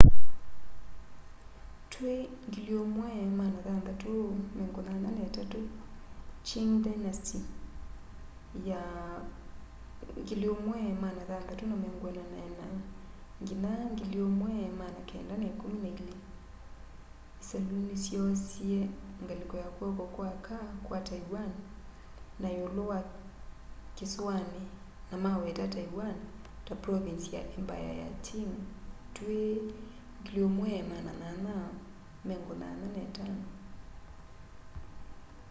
twi 1683 qing dynasty 1644-1912 isalu nisyoosie ngaliko ya kw'oko kwa aka kwa taiwan na iulu wa kisuani na maweta taiwan na province ya embaya ya qing twi 1885